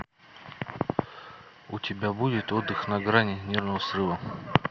у тебя будет отдых на грани нервного срыва